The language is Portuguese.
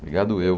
Obrigado eu.